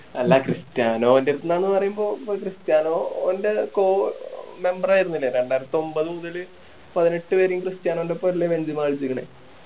അല്ല ക്രിസ്റ്റിയാനോൻ്റെ അടുത്തുന്നാന്നു പറയുമ്പോ ക്രിസ്റ്റിയാനോ ഓൻ്റെ co-memeber ആയിരുന്നില്ലേ രണ്ടായിരത്തൊമ്പത് മുതല് പതിനെട്ട് വരെയും ക്രിസ്റ്റിയാനോൻ്റെ ഒപ്പം അല്ലെ ബെഞ്ചിമ കളിച്ചിക്കണേ